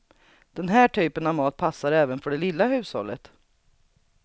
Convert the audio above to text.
Den här typen av mat passar även för det lilla hushållet.